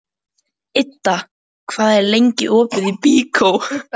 Idda, hvað er lengi opið í Byko?